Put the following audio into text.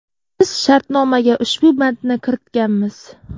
Biz shartnomaga ushbu bandni kiritganmiz.